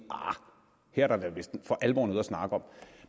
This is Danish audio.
at der vist for alvor er noget at snakke om